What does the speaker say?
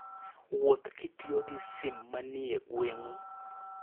Wuoth kitiyo gi sim manie gweng'u.